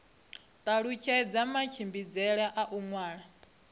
talutshedza matshimbidzele a u ṅwalisa